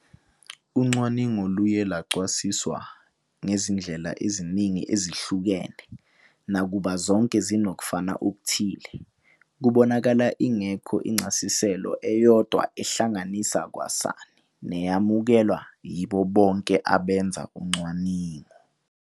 Ucwaningo luye lwachasiswa ngezindlela eziningi ezihlukene, nakuba zonke zinokufana okuthile, kubonakala ingekho incasiselo eyodwa ehlanganisa kwasani neyamukelwa yibo bonke abenza ucwaningo.